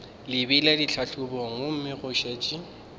lebile ditlhahlobong gomme go šetše